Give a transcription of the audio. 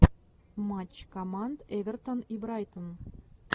матч команд эвертон и брайтон